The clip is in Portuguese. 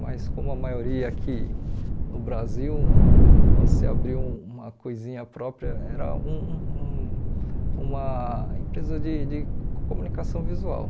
Mas como a maioria aqui no Brasil se abriu uma coisinha própria, era um um um uma empresa de de comunicação visual.